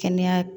Kɛnɛya